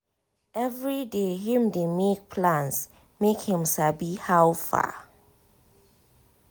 every day him dey make plans make him sabi how far.